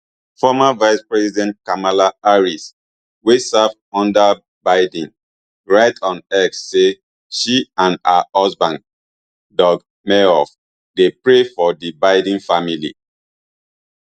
former vicepresident kamala harris wey serve under biden write on x say she and her husband doug emhoff dey pray for di biden family